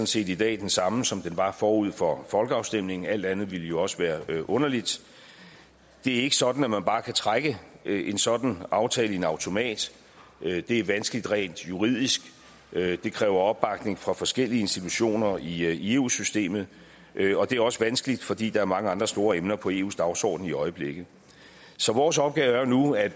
set i dag den samme som den var forud for folkeafstemningen alt andet ville jo også være underligt det er ikke sådan at man bare kan trække en sådan aftale i en automat det er vanskeligt rent juridisk det kræver opbakning fra forskellige institutioner i eu systemet og det er også vanskeligt fordi der er mange andre store emner på eus dagsorden i øjeblikket så vores opgave er jo nu at